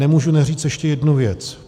Nemůžu neříct ještě jednu věc.